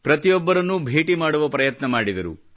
ಪ್ರತಿಯೊಬ್ಬರನ್ನೂ ಭೇಟಿ ಮಾಡುವ ಪ್ರಯತ್ನ ಮಾಡಿದರು